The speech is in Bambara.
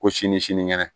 Ko sini sinikɛnɛ